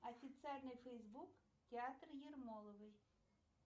официальный фейсбук театра ермоловой